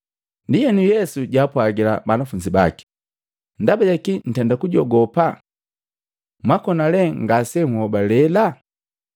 Ndienu, Yesu jaapwagila banafunzi baki, “Ndaba jakii ntenda kujogopa? Mwakona lee ngase nhobalela?”